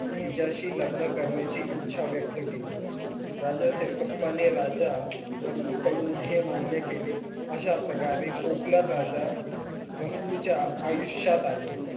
तिच्याशी लग्न करण्याची इच्छा व्यक्त केली. राजा सिरकप्पाने राजा रसूल कडून हे मान्य केले अशा प्रकारे कोकलन राजा रसलू च्या आयुष्यात आले.